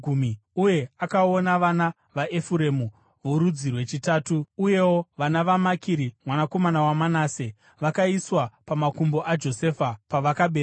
uye akaona vana vaEfuremu vorudzi rwechitatu. Uyewo vana vaMakiri mwanakomana waManase vakaiswa pamakumbo aJosefa pavakaberekwa.